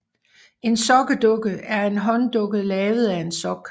En sokkedukke er en hånddukke lavet af en sok